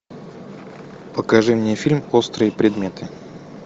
покажи мне фильм острые предметы